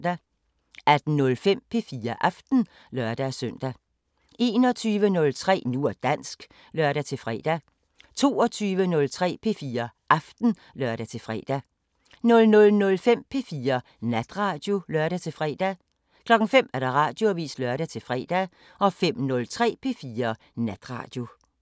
18:05: P4 Aften (lør-søn) 21:03: Nu og dansk (lør-fre) 22:03: P4 Aften (lør-fre) 00:05: P4 Natradio (lør-fre) 05:00: Radioavisen (lør-fre) 05:03: P4 Natradio